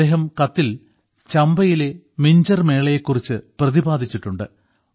അദ്ദേഹം കത്തിൽ ചമ്പയിലെ മിഞ്ചർ മേളയെ കുറിച്ച് പ്രതിപാദിച്ചിട്ടുണ്ട്